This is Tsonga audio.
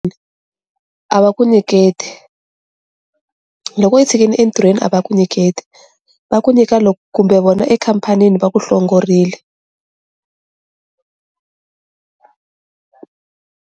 A va ku nyiketi loko i tshikini entirhweni a va ku nyiketi va ku nyika loko kumbe vona ekhampanini va ku hlongorile.